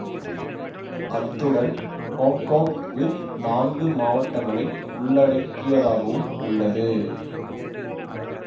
அத்துடன் ஹொங்கொங் தீவு நான்கு மாவட்டங்களை உள்ளடக்கியதாகவும் உள்ளது